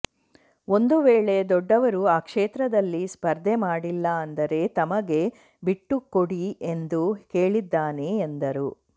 ಒಂದು ವೇಳೆ ದೊಡ್ಡವರು ಆ ಕ್ಷೇತ್ರದಲ್ಲಿ ಸ್ಪರ್ಧೆ ಮಾಡಿಲ್ಲ ಅಂದರೆ ತಮಗೆ ಬಿಟ್ಟು ಕೊಡಿ ಎಂದು ಕೇಳಿದ್ದಾನೆ ಎಂದರು